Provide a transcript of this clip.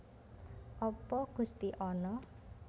Apa Gusti ana